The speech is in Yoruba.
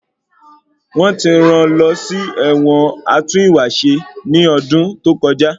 Wọ́n ti rán lọ sí ẹ̀wọ̀n atún ìwà ṣe ní ọdún tó kọjá.